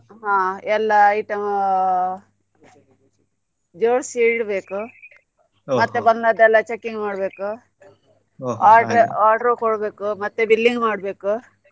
ಹಾ ಎಲ್ಲಾ item ಜೋಡ್ಸಿ ಇಡ್ಬೇಕು ಮತ್ತೆ ಬಂದದ್ದಲ್ಲ checking ಮಾಡ್ಬೇಕು order order ಕೊಡ್ಬೇಕು ಮತ್ತೆ billing ಮಾಡ್ಬೇಕು.